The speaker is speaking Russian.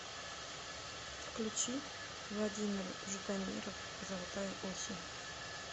включи владимир ждамиров золотая осень